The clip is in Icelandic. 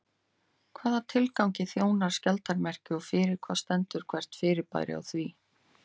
Hvaða tilgangi þjónar skjaldarmerkið og fyrir hvað stendur hvert fyrirbæri á því?